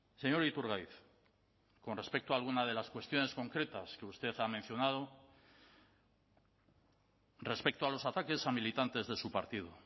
señor iturgaiz con respecto a alguna de las cuestiones concretas que usted ha mencionado respecto a los ataques a militantes de su partido